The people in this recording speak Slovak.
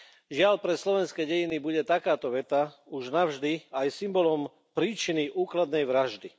Žiaľ, pre slovenské dejiny bude takáto veta už navždy aj symbolom príčiny úkladnej vraždy.